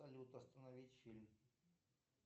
салют остановить фильм